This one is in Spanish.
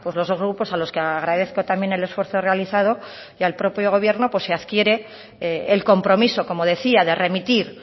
los grupos a los que agradezco también el esfuerzo realizado y al propio gobierno pues se adquiere el compromiso como decía de remitir